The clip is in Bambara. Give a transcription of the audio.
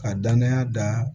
Ka danaya da